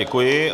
Děkuji.